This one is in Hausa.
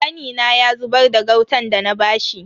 Kanina ya zubar da gautan dana bashi.